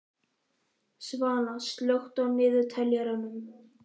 Svana, slökktu á niðurteljaranum.